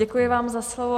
Děkuji vám za slovo.